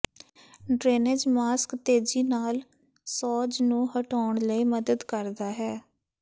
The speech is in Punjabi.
ਡਰੇਨੇਜ਼ ਮਾਸਕ ਤੇਜ਼ੀ ਨਾਲ ਸੋਜ ਨੂੰ ਹਟਾਉਣ ਲਈ ਮਦਦ ਕਰਦਾ ਹੈ